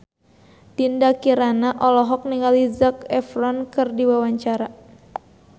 Dinda Kirana olohok ningali Zac Efron keur diwawancara